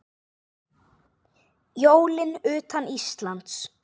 Jólin utan Íslands